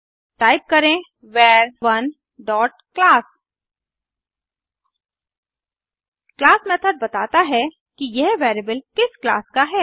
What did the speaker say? type करें वर1 dot class class method बताता है कि यह वेरिएबल किस क्लास का है